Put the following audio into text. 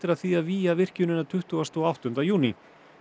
að því að vígja virkjunina tuttugasta og áttunda júní